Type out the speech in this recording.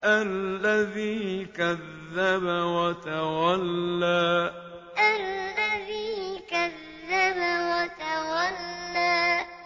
الَّذِي كَذَّبَ وَتَوَلَّىٰ الَّذِي كَذَّبَ وَتَوَلَّىٰ